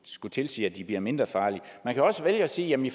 skulle tilsige at de bliver mindre farlige man kan også vælge at sige at jamen i